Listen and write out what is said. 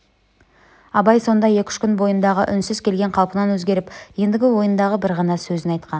абай сонда екі-үш күн бойындағы үнсіз келген қалпынан өзгеріп ендігі ойындағы бір ғана сөзін айтқан